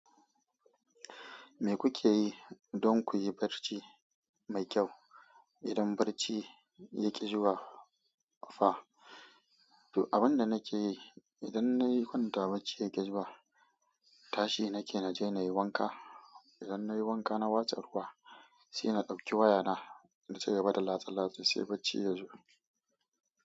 Me kuke yi don ku yi barci mai kyau idan barci ya ƙi zuwa fa? To, abin da nake yi idan na yi kwanta barci ya ƙi zuwa, tashi nake na je na yi wanka. Idan na yi wanka na watsa ruwa sai na ɗauki wayana na ci gaba da latse-latse sai barci ya zo.